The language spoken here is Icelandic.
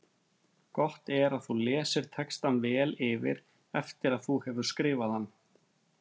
Gott er að þú lesir textann vel yfir eftir að þú hefur skrifað hann.